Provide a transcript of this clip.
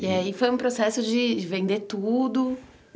E aí foi um processo de vender tudo.